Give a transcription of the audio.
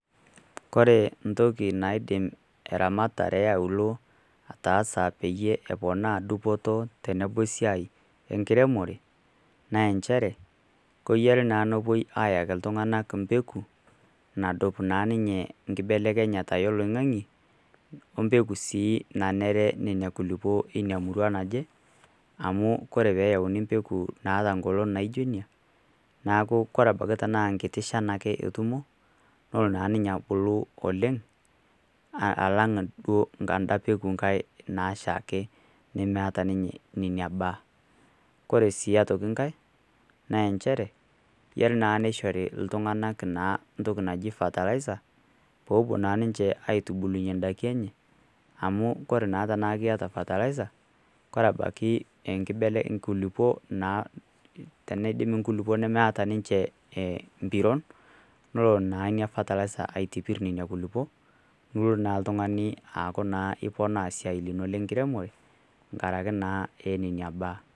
Kore entoki naidim eramatare e aulo ataasa peyie eponaa dupoto tenebo esiai enkiremore, naa enchere keyiare naa nepuoi ayaki iltung'ana imbeku naduo naa ninye enkibelekenyata oloing'ang'e, o embeko sii nanare Nena kulukuok, Ina murua naje , amu Kore pee eyauni empeku naijo inia neaku abaiki naa enkiti shan ake etumo, nelo naa ninye abulu oleng' alang' enda duo peaku Kai naashaki, nemeata ninye inebaa. Kore sii aitoki inkai, naa enchere, eyare naa neishori iltung'ana entoki naji fertilizer, pee epuo naa ninche aitubulunye indaiki enye ,amu kure naa tanaa kiata fertilizer, Kore ebaiki enkibelekeny inkulukoo teneidim inkulukuok nemeata ninche empiron, nelo naa Ina fertilizer aitipir Nena kulukuok nilo naa oltung'ani aaku naa iponaa esiai ino le enkiremore enkaraki naa neina baa.